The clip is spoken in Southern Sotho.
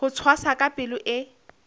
ho tshwasa ka palo e